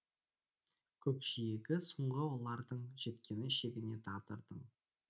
көкжиегі соңғы олардың жеткені шегіне тағдырдың